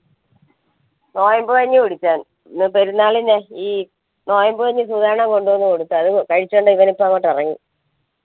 പെരുന്നാളിന് ഈ നൊയമ്പ് കഴിഞ്ഞ് കൊടുത്തു അവ്നിപ്പങ്ങാട്ട് ഒറങ്ങി